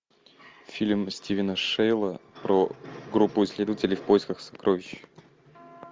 фильм стивена шейла про группу исследователей в поисках сокровищ